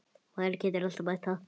Maður getur alltaf bætt það.